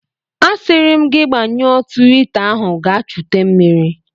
A siri m gi gbanyụọ twita ahu gaa chute mmiri!